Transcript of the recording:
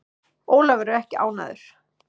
Ólafur er ekki ánægður.